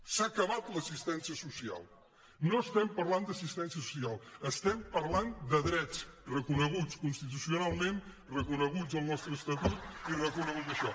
s’ha acabat l’assistència social no es·tem parlant d’assistència social estem parlant de drets reconeguts constitucionalment reconeguts al nostre estatut i reconegut en això